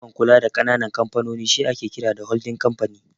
Kamfanin da ke da ikon kula da ƙananan kamfanoni shi ake kira "Holdin Kamfani"